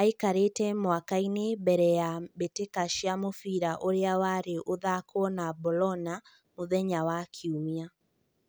Aikarĩte mũkawa-inĩ mbere ya mbĩtĩka ya mũbira ũrĩa warĩ ũthakwo na Bologna mũthenya wa Kiumia.